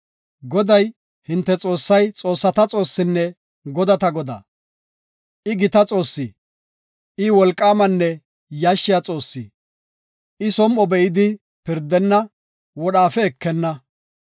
Goday, hinte Xoossay xoossata Xoossinne godata Godaa. I gita Xoossi; I wolqaamanne yashshiya Xoossi. I som7o be7idi pirdenna; wodhaafe ekenna.